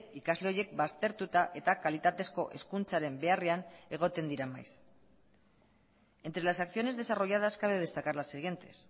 ikasle horiek baztertuta eta kalitatezko hezkuntzaren beharrean egoten dira maiz entre las acciones desarrolladas cabe destacar las siguientes